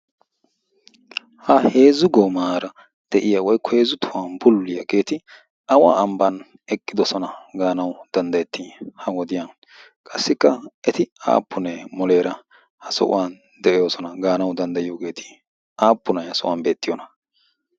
Ha heezzu goomaara de'iyaa woykko heezzu tohuwan bullulliyaageeti awa ambban eqqidoosona gaanaw danddayetii ha wodiyaan? Qassikka eti aappunne muleera ha sohuwan de'oosona gaanaw danddayiyoogeeti? Aappunay ha sohuwaan beettiyoona?